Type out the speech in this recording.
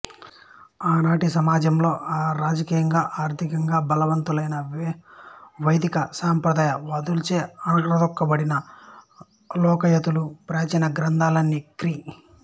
ఆనాటి సమాజంలో రాజకీయంగా ఆర్ధికంగా బలవంతులైన వైదిక సంప్రదాయ వాదులచే అణగద్రొక్కబడిన లోకయతుల ప్రాచీన గ్రంథాలన్నీ క్రీ